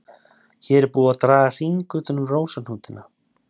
Hér er búið að draga hring utan um rósahnútana.